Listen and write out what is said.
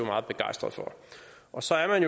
meget begejstret for og så er man